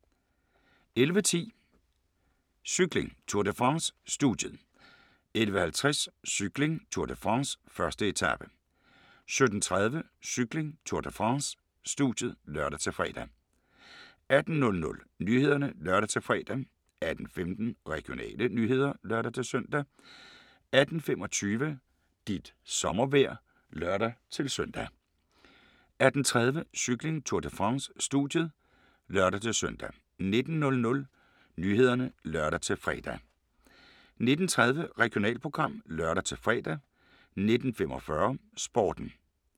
11:10: Cykling: Tour de France - studiet 11:50: Cykling: Tour de France - 1. etape 17:30: Cykling: Tour de France - studiet (lør-fre) 18:00: Nyhederne (lør-fre) 18:15: Regionale nyheder (lør-søn) 18:25: Dit sommervejr (lør-søn) 18:30: Cykling: Tour de France - studiet (lør-søn) 19:00: Nyhederne (lør-fre) 19:30: Regionalprogram (lør-fre) 19:45: Sporten